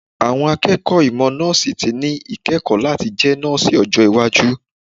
Àwọn akẹ́kọ̀ọ́ ìmọ̀ Nọ́ọ̀sì ti ní íkẹ́kọ̀ọ́ láti jẹ nọ́ọ̀sì ọjọ́ iwájú.